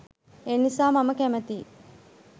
ඒනිසා මම කැමතියි